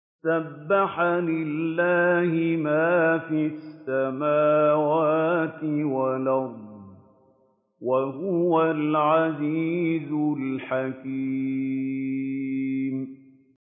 سَبَّحَ لِلَّهِ مَا فِي السَّمَاوَاتِ وَالْأَرْضِ ۖ وَهُوَ الْعَزِيزُ الْحَكِيمُ